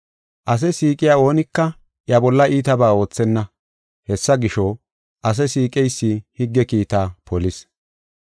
Ase siiqiya oonika iya bolla iitabaa oothenna. Hessa gisho, ase siiqeysi higge kiitaa polis.